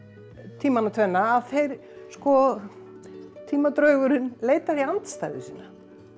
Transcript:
tímana tvenna að þeir sko leitar í andstæðu sína